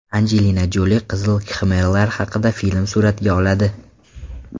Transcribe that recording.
Anjelina Joli Qizil kxmerlar haqida film suratga oladi.